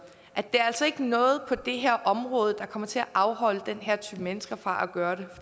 det er altså ikke noget der kommer til at afholde den her type mennesker fra at gøre det